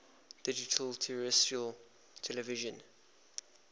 digital terrestrial television